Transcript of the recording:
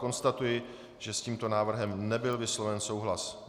Konstatuji, že s tímto návrhem nebyl vysloven souhlas.